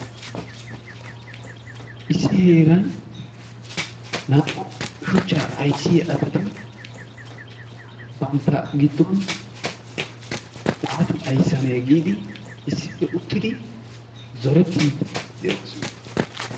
Issi heeran naa"u shuchchaa ayssiya asati bantta giddon waati ayssanne giidi issippe uttidi zorettiidi de'oosona.